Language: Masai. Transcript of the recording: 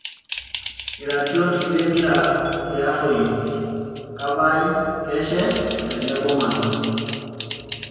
Iratiot lempira te Arroi; kapai, keshe o tenebo manu